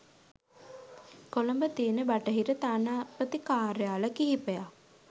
කොළඹ තියෙන බටහිර තානාපති කාර්යාල කිහිපයක්